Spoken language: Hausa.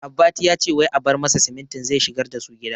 Abbati yace wai a bar masa simintin zai shigar dasu gida